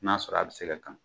N'a sɔrɔ a bɛ se ka kan.